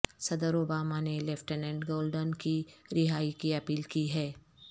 صدر اوباما نے lieutenant Goldin کی رہائی کی اپیل کی ہے